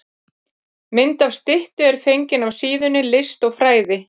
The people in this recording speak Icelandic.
Mynd af styttu er fengin af síðunni List og fræði.